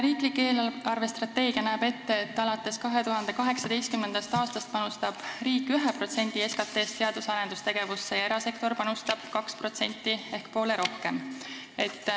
Riiklik eelarvestrateegia näeb ette, et alates 2018. aastast panustab riik 1% SKT-st teadus- ja arendustegevusse, erasektor panustab 2% ehk poole rohkem.